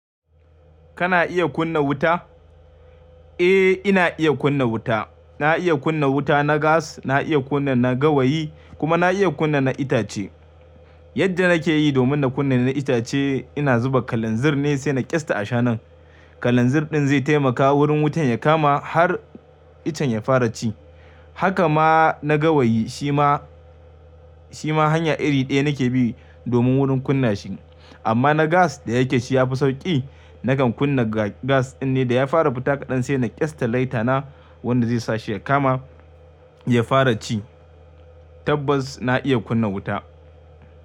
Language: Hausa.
Kana iya kunna wuta? Eh, ina iya kunna wuta. Na iya kunna wuta na gas, na iya kunna na gawayi kuma na iya kunna na itace. Yadda nake yi domin na kunna na itace, ina zuba kalanzir ne sai na ƙyasta a shanun. Kalanzir ɗin zai taimaka wurin wutan ya kama har iccen ya fara ci. Haka ma na gawayi, shi ma, shi ma hanya iri ɗaya nake bi domin wurin kunna shi. Amma na gas da yake shi ya fi sauƙi, nakan kunna gas ɗin ne da ya fara fita kaɗan sai na ƙyasta laita na, wanda zai sa shi ya kama ya fara ci. Tabbas na iya kunna wuta.